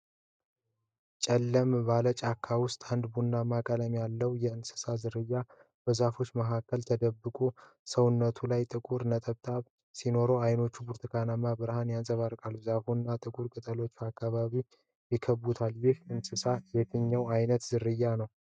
ጨለም ባለ ጫካ ውስጥ አንድ ቡናማ ቀለም ያለው የእንስሳ ዝርያ በዛፎች መካከል ተደብቋል። ሰውነቱ ላይ ጥቁር ነጠብጣቦች ሲኖሩት፣ ዓይኖቹ በብርቱካንማ ብርሃን ያንጸባርቃሉ። ዛፎች እና ጥቁር ቅጠሎች አካባቢውን ይከብባሉ። ይህ እንስሳ የየትኛው አይነት ዝርያ ነው?